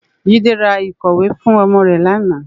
Jide rá ikòwé fún òmò rè làná